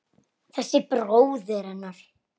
Þessi bróðir hennar!